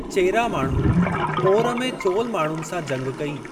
चेरा माण्हुनि पोर में चोल माण्हुनि सां जंग कई।